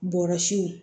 Bɔrɔsiw